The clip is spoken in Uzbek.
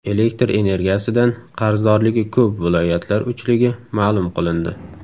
Elektr energiyasidan qarzdorligi ko‘p viloyatlar uchligi ma’lum qilindi.